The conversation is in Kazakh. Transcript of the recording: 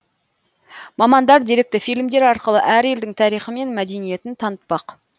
мамандар деректі фильмдер арқылы әр елдің тарихы мен мәдениетін танытпақ